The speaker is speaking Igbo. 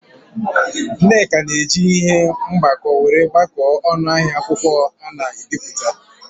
Nneka na-eji ihe mgbako were gbakọọ ọnụ ahịa akwụkwọ ana-ebipụta.